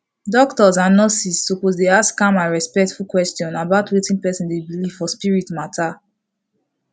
doctors and nurses suppose dey ask calm and respectful question about wetin person dey believe for spirit matter